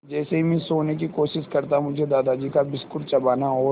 जैसे ही मैं सोने की कोशिश करता मुझे दादाजी का बिस्कुट चबाना और